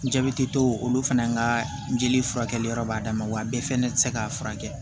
Jabɛti tɔ olu fana ka jeli furakɛli yɔrɔ b'a dama wa bɛɛ fɛnɛ ti se k'a furakɛ